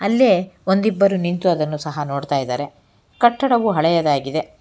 ಅಲ್ಲೇ ಒಂದಿಬ್ಬರು ನಿಂತು ಅದನ್ನು ಸಹ ನೋಡ್ತಾ ಇದಾರೆ ಕಟ್ಟಡವು ಹಳೆಯದಾಗಿದೆ.